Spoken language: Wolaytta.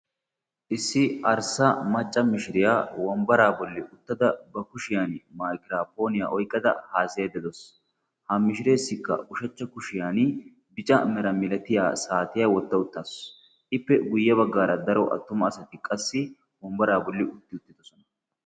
Issi arssa macca mishiriyaa wombbaraa bolli uttada ba kushiyan malgiraapooniyaa oyqqada haasayayda de'awus. ha mishireessikka ushachcha kushiyan bica mera milatiya saatiya wotto uttaasu ippe guyye baggaara daro attuma asati qassi wombbaraa bolli utti uttidosona.